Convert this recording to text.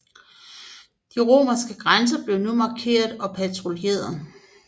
De romerske grænser blev nu markeret og patruljeret